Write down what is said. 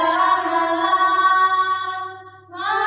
फुल्लकुसुमितद्रुमदलशोभिनीं